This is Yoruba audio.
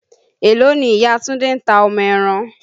Èló ni Ìya Túndé ta ọmọ ẹran?